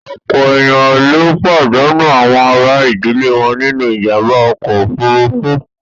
Ọ̀pọ̀ èèyàn ló pàdánù àwọn àrà ìdílé wọn nínú ìjàǹbá ọkọ̀ òfuurufú